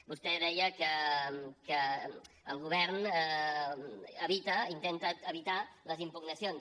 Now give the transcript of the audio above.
vostè deia que el govern intenta evitar les impugnacions